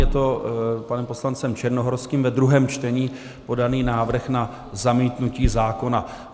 Je to panem poslancem Černohorským ve druhém čtení podaný návrh na zamítnutí zákona.